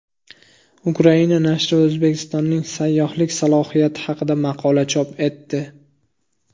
Ukraina nashri O‘zbekistonning sayyohlik salohiyati haqida maqola chop etdi.